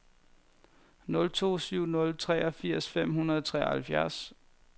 nul to syv nul treogfirs fem hundrede og treoghalvtreds